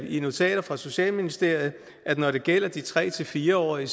i notater fra socialministeriet at når det gælder de tre fire årige